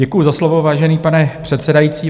Děkuji za slovo, vážený pane předsedající.